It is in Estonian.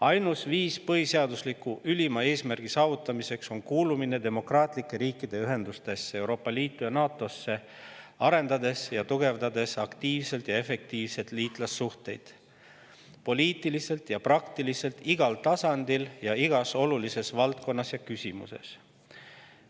Ainus viis põhiseadusliku ülima eesmärgi saavutamiseks on kuulumine demokraatlike riikide ühendustesse, Euroopa Liitu ja NATO‑sse, arendades ning tugevdades aktiivselt ja efektiivselt liitlassuhteid poliitiliselt ja praktiliselt igal tasandil ning igas olulises valdkonnas ja küsimuses.